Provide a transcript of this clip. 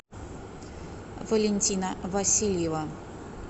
валентина васильева